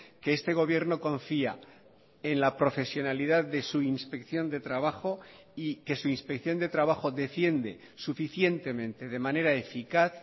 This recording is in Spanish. que este gobierno confía en la profesionalidad de su inspección de trabajo y que su inspección de trabajo defiende suficientemente de manera eficaz